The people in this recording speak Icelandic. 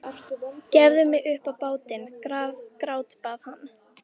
Gefðu mig upp á bátinn, grátbað hann.